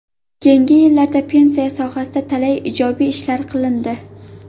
Keyingi yillarda pensiya sohasida talay ijobiy ishlar qilindi.